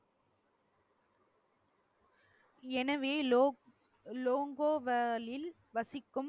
எனவே லோ~ லோங்கோ வாலில் வசிக்கும்